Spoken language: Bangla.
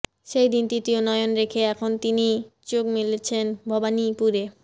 সেই দিকে তৃতীয় নয়ন রেখে এখন তিনি চোখ মেলেছেন ভবানীপুরে